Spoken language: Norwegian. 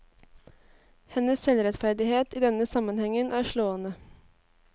Hennes selvrettferdighet i denne sammenhengen er slående.